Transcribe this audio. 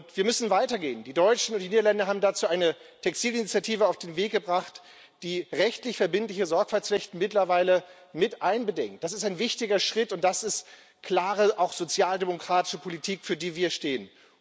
Wir müssen weitergehen. Die Deutschen und die Niederländer haben dazu eine Textilinitiative auf den Weg gebracht, die rechtlich verbindliche Sorgfaltspflichten mittlerweile mit einbedingt. Das ist ein wichtiger Schritt, und das ist klare auch sozialdemokratische Politik, für die wir stehen.